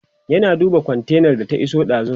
yana duba kontainar da ta iso dazun